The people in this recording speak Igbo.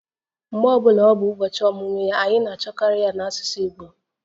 Mgbe ọ bụla ọ bụ ụbọchị ọmụmụ ya, anyị na-achọkarị ya n'asụsụ Igbo